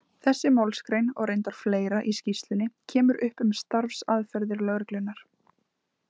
Þessi málsgrein, og reyndar fleira í skýrslunni, kemur upp um starfsaðferðir lögreglunnar.